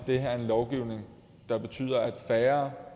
det her er en lovgivning der betyder at færre